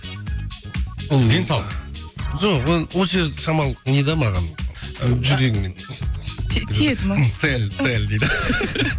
ол денсаулық жоқ онша шамалы не де маған ы жүрегіме тиеді ме сәл сәл